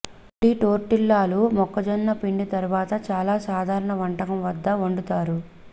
నుండి టోర్టిల్లాలు మొక్కజొన్న పిండి తరువాత చాలా సాధారణ వంటకం వద్ద వండుతారు